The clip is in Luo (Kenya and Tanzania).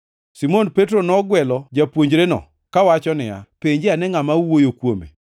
Simon Petro nogwelo japuonjreno kawacho niya, “Penje ane ngʼama owuoyo kuome.”